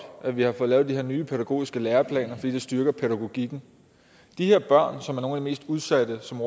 at vi har fået lavet de her nye pædagogiske læreplaner fordi det styrker pædagogikken de her børn som er nogle af de mest udsatte som